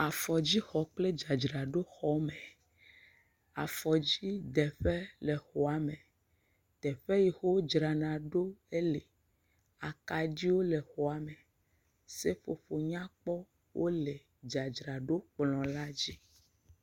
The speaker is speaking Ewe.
Afɔdzixɔ kpl dzadzraɖo xɔme, afɔdzideƒe le xɔa me, teƒe si ke wodzrana ɖo ele, akaɖiwo le xɔa me, seƒoƒowo nyakpɔ wole dzadzraɖo kplɔ la dzi.